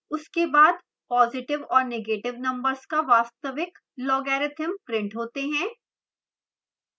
उसके बाद positive और negative numbers का वास्तविक logarithm printed होते हैं